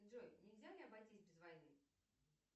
джой нельзя ли обойтись без войны